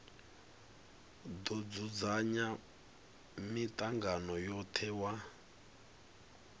do dzudzanya mitangano yothe wa